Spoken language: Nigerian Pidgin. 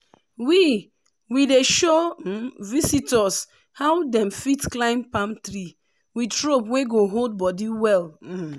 we we dey show visitors how dem fit climb palm tree with rope wey go hold body well. um